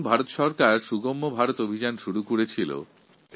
এই বছর ভারত সরকার সুগম্য ভারত অভিযান শুরু করেছে